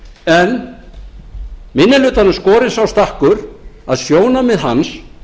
en minni hlutanum skorinn sá stakkur að sjónarmið hans